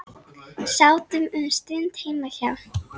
Sátum um stund heima hjá